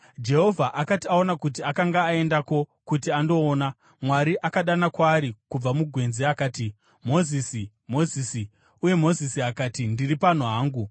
Jehovha akati aona kuti akanga aendako kuti andoona, Mwari akadana kwaari kubva mugwenzi akati, “Mozisi! Mozisi!” Uye Mozisi akati, “Ndiri pano hangu.”